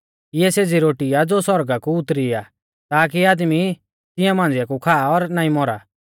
इऐ सेज़ी रोटी आ ज़ो सौरगा कु उतरी आ ताकी आदमी तिंआ मांझ़िया कु खा और नाईं मौरा